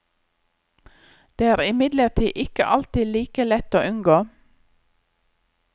Det er imidlertid ikke alltid like lett å unngå.